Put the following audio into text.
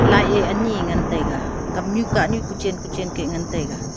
light ye ali ngan taiga kamnu kahnu kochen kochen keh ngantaiga.